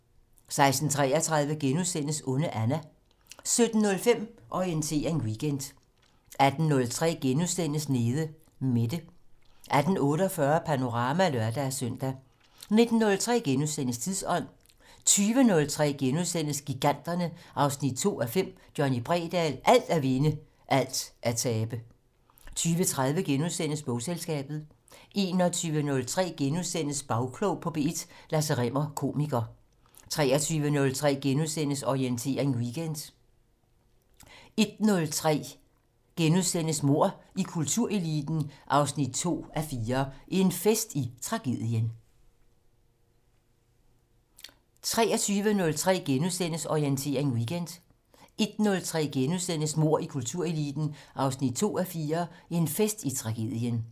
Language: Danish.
16:33: Onde Anna * 17:05: Orientering Weekend 18:03: Nede Mette * 18:48: Panorama (lør-søn) 19:03: Tidsånd * 20:03: Giganterne 2:5 - Johnny Bredahl: Alt at vinde - alt at tabe * 20:30: Bogselskabet * 21:03: Bagklog på P1: Lasse Rimmer, komiker * 23:03: Orientering Weekend * 01:03: Mord i kultureliten 2:4 - En fest i tragedien *